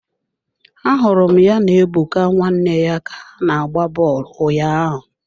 Ahụrụ m ya na Ebuka nwanne ya ka ha na-agba bọọlụ ụnyaahụ.